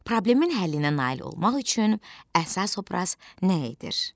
Problemin həllinə nail olmaq üçün əsas obraz nə edir?